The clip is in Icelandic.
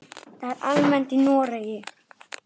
Það er almennt í Noregi.